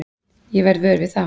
Ég verð vör við það.